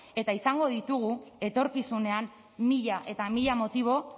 eta izango ditugu etorkizunean mila eta mila motibo